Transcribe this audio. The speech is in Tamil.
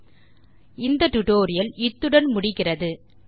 ஆகவே இப்போது இத்துடன் இந்த டுடோரியல் முடிகிறது